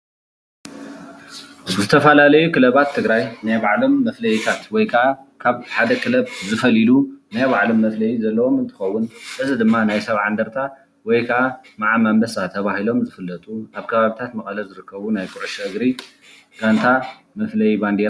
ዝተፈላለዩ ክለባት ትግራይ ናይ ባዕሎም መፍለይታት ወይ ክዓ ካብ ሓደ ክለብ ዝፈልይሉ ናይ ባዐሎም መፍለዪ ዘለዎም እንትኾኑ እዚ ድማ ናይ ሰብዓ እንድርታ ወይ ክዓ መዓም ኣምበሳ ተባሂሎም ዝፍለጡ ኣብ ከባቢታት መቐለ ዝርከቡ ናይ ኩዕሾ እግሪ ጋንታ መፍለዪ ባንዴራ እዩ።